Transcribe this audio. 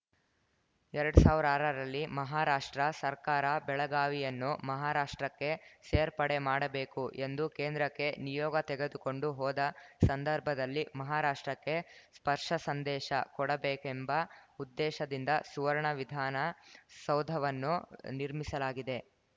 ಎರಡ್ ಸಾವಿರ ಆರರಲ್ಲಿ ಮಹಾರಾಷ್ಟ್ರ ಸರ್ಕಾರ ಬೆಳಗಾವಿಯನ್ನು ಮಹಾರಾಷ್ಟ್ರಕ್ಕೆ ಸೇರ್ಪಡೆ ಮಾಡಬೇಕು ಎಂದು ಕೇಂದ್ರಕ್ಕೆ ನಿಯೋಗ ತೆಗೆದುಕೊಂಡು ಹೋದ ಸಂದರ್ಭದಲ್ಲಿ ಮಹಾರಾಷ್ಟ್ರಕ್ಕೆ ಸ್ಪರ್ಷಸಂದೇಶ ಕೊಡಬೇಕೆಂಬ ಉದ್ದೇಶದಿಂದ ಸುವರ್ಣ ವಿಧಾನ ಸೌಧವನ್ನು ನಿರ್ಮಿಸಲಾಗಿದೆ